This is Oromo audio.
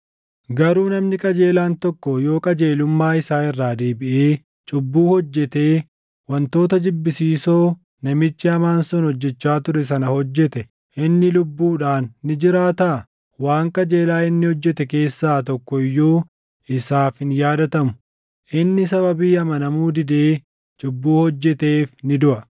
“Garuu namni qajeelaan tokko yoo qajeelummaa isaa irraa deebiʼee cubbuu hojjetee wantoota jibbisiisoo namichi hamaan sun hojjechaa ture sana hojjete inni lubbuudhaan ni jiraataa? Waan qajeelaa inni hojjete keessaa tokko iyyuu isaaf hin yaadatamu. Inni sababii amanamuu didee cubbuu hojjeteef ni duʼa.